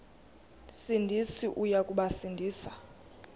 sindisi uya kubasindisa